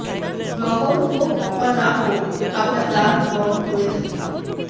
গ্রহণ হোক বা না হোক আমরা দান গ্রহণ করে থাকি